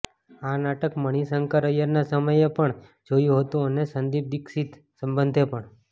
આ નાટક મણિશંકર ઐયરના સમયે પણ જોયું હતું અને સંદીપ દીક્ષિત સંબંધે પણ